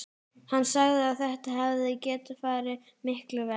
Hann sagði að þetta hefði getað farið miklu verr.